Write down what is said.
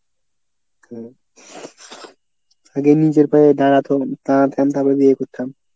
আগে নিজের পায়ে দাড়াত~ দাড়াতাম তারপর বিয়ে করতাম।